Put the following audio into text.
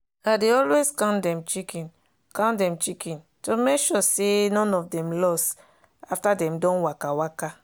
i dey always count dem chicken count dem chicken to make sure say none of them lose after dem don waka waka.